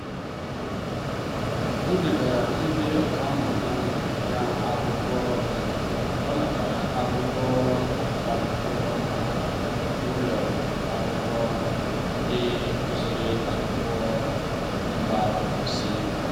o degara ndị ọkammụta um ya akwụkwọ mgbe ọ natara akwụkwọ agụmakwụkwọ maka um ụlọ akwụkwọ um ndi gụsịrị akwụkwọ na mba ofesi.